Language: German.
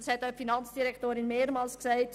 Die Finanzdirektorin hat es mehrmals gesagt: